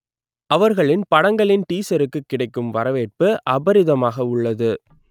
அவர்களின் படங்களின் டீஸருக்கு கிடைக்கும் வரவேற்பு அபிரிதமாக உள்ளது